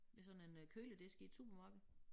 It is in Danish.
Ved sådan en øh køledisk i et supermarked